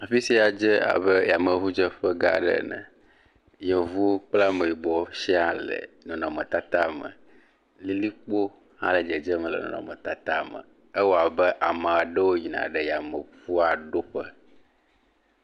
Afi sia dze abe yameŋudzeƒe gã aɖe ene, yevuwo kple ameyibɔwo siaa le nɔnɔmetata me, lilikpo hã le dzedzem le nɔnɔmetata me, ewɔ abe ame aɖewo yna ɖe yameŋua ɖo ƒe.